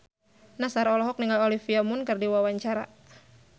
Nassar olohok ningali Olivia Munn keur diwawancara